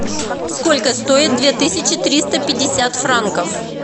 сколько стоит две тысячи триста пятьдесят франков